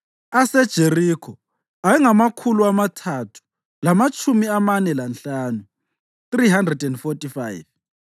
aseJerikho ayengamakhulu amathathu lamatshumi amane lanhlanu (345),